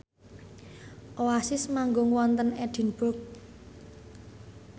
Oasis manggung wonten Edinburgh